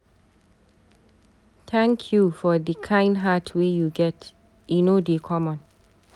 Thank you for di kain heart wey you get, e no dey common.